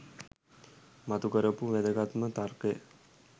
මතු කරපු වැදගත්ම තර්කය